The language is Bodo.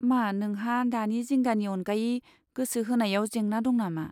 मा नोंहा दानि जिंगानि अनगायै गोसो होनायाव जेंना दं नामा?